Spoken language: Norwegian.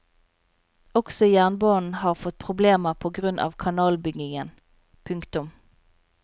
Også jernbanen har fått problemer på grunn av kanalbyggingen. punktum